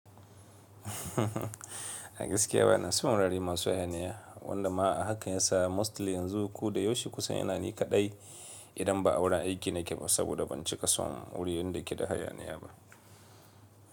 A gaskiya bana son rari masu hayaniya, wanda ma haka ya sa mostly yanzu kuɗa yoshi kusan yana ni kaɗai idan ba auren aiki na ke ba saboda ban cika so wuri yadda yake da hayaniya ba.